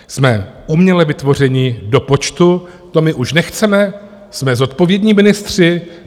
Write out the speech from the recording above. Jsme uměle vytvořeni do počtu, to my už nechceme, jsme zodpovědní ministři.